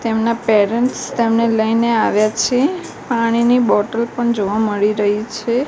તેમના પેરેન્ટ્સ તેમને લેઈને આવ્યા છે પાણીની બોટલ પણ જોવા મળી રહી છે.